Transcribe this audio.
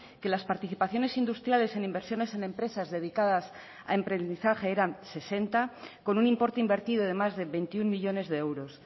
que las participaciones industriales en inversiones en empresas dedicadas a emprendizaje eran sesenta con un importe invertido de más de veintiuno millónes de euros